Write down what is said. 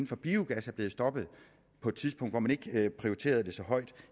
for biogas er blevet stoppet på et tidspunkt hvor man ikke prioriterede det så højt